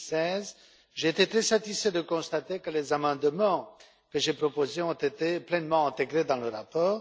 2016. J'ai été très satisfait de constater que les amendements que j'ai proposés ont été pleinement intégrés dans le rapport.